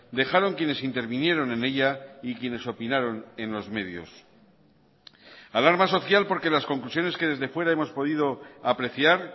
dejaron quienes intervinieron en ella y quienes opinaron en los medios alarma social porque las conclusiones que desde fuera hemos podido apreciar